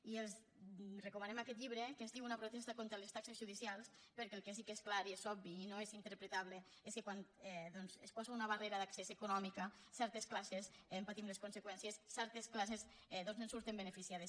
i els recomanem aquest llibre que es diu una protesta contra les taxes judicials perquè el que sí que és clar i és obvi i no és interpretable és que quan doncs es posa una barrera d’accés econòmica certes classes en patim les conseqüències certes classes en surten beneficiades